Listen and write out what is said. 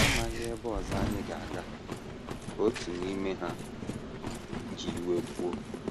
“ Anyị amaghị ebe ọzọ anyị ga - aga, ” ka otu n’ime ha ji iwe kwuo.